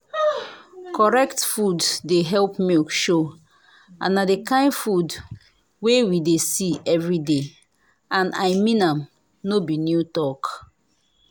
correct food dey help milk show and na the kind food wey we dey see every day and i mean am no be new talk.